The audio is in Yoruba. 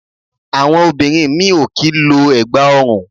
Àwọn obìnrin mí ì ò kì í lo ẹ̀gbà ọrùn